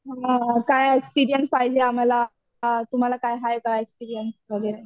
हं काय एक्सपीरियन्स पाहिजे आम्हाला? तुम्हाला काय हाय का एक्सपीरियन्स वगैरे?